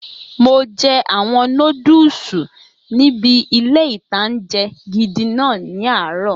Mo jẹ àwọn nódùsù níbi ilé-ìtánjẹ gidi náà ní àárọ̀